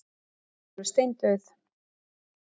Hún er alveg steindauð!